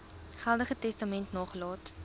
geldige testament nagelaat